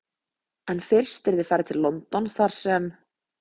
En fyrst yrði farið til London þar sem